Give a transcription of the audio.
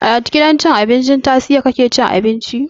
A gidan cin abinci na tastia kake cin abinci?